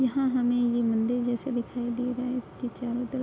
यहाँ हमें ये मंदिर जैसे दिखाई दे रहा है। इसके चारों तरफ --